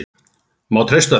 Má treysta þeim?